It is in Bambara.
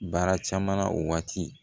Baara caman na o waati